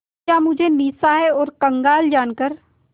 क्या मुझे निस्सहाय और कंगाल जानकर